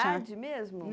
mesmo?